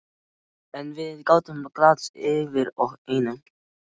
En við gátum glaðst yfir einu.